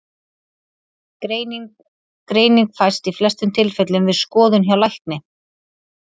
Greining Greining fæst í flestum tilfellum við skoðun hjá lækni.